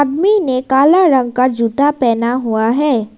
आदमी काला रंग का जूता पहना हुआ है।